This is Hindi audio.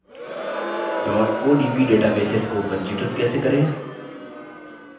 odb databases को पंजीकृत कैसे करें